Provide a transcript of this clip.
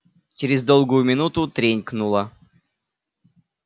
через долгую минуту тренькнуло